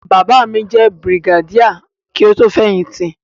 Bàbá mi jẹ́ Brigadier kí ó tó fẹ̀yìn tì.